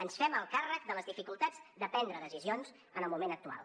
ens fem el càrrec de les dificultats de prendre decisions en el moment actual